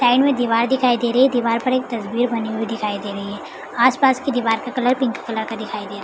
side में दिवार दिखाई दे रही है दिवार पे एक तस्वीर बनी हुई दिखाई दे रही है आस पास के दीवार का कलर पिंक कलर का दिखाई दे रहा --